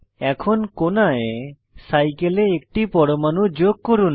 এখন কোণায় সাইকেলে একটি পরমাণু যোগ করুন